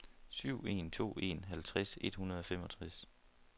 syv en to en halvtreds et hundrede og femogtres